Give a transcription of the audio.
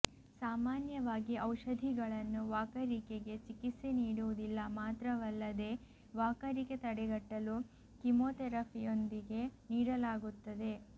ಸಾಮಾನ್ಯವಾಗಿ ಔಷಧಿಗಳನ್ನು ವಾಕರಿಕೆಗೆ ಚಿಕಿತ್ಸೆ ನೀಡುವುದಿಲ್ಲ ಮಾತ್ರವಲ್ಲದೇ ವಾಕರಿಕೆ ತಡೆಗಟ್ಟಲು ಕೀಮೋಥೆರಪಿಯೊಂದಿಗೆ ನೀಡಲಾಗುತ್ತದೆ